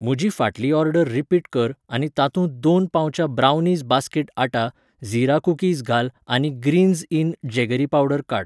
म्हजी फाटली order repeat कर आनी तातूंत दोन पाउचां ब्रावनीज बास्केटआटा झीरा कुकीज घाल आनी ग्रीन्झ इन जेगरी पावडर काड.